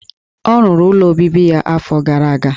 Ọ rụrụ ụlọ obibi ya afọ gara aga.